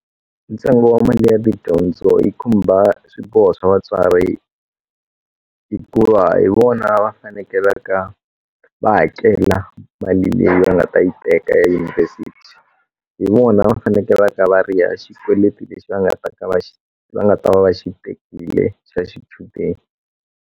Ntsengo wa mali ya tidyondzo yi khumba swiboho swa vatswari hikuva hi vona va fanekelaka va hakela mali leyi va nga ta yi teka ya dyunivhesiti hi vona va fanekele va ta va riha xikweleti lexi va nga ta ka va nga ta va va xi tekile xa xichudeni.